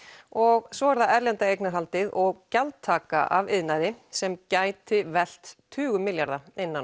og svo er það erlenda eignarhaldið og gjaldtaka af iðnaði sem gæti velt tugum milljarða innan